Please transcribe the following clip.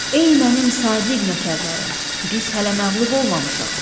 Ey mənim sadiq nökərlərim, biz hələ məğlub olmamışıq.